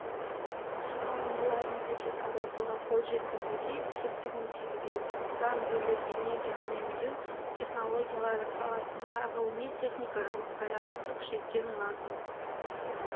шығарындыларын сәйкес азайтуға қол жеткізуге септігін тигізеді бұдан бөлек энергия үнемдеу технологиялары саласында ғылыми-техникалық даярлықты күшейткен лазым